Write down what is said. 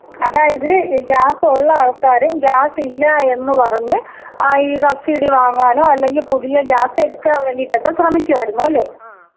അതായത് ഗ്യാസ് ഉള്ള ആൾക്കാരും ഗ്യാസ് ഇല്ല എന്ന് പറഞ്ഞ് ആ ഈ സബ്സിഡി വാങ്ങാനോ അല്ലെങ്കിൽ പുതിയ ഗ്യാസ് എടുക്കാൻ വേണ്ടിയിട്ടൊക്കെ ശ്രേമിക്കുമായിരുന്നു അല്ലെ?.